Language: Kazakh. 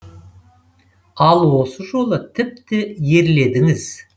ал осы жолы тіпті ерледіңіз